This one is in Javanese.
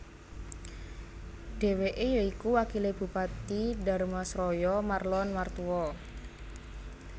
Dheweke ya iku wakile Bupati Dharmasraya Marlon Martua